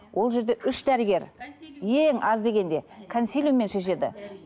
ол жерде үш дәрігер ең аз дегенде консилиуммен шешеді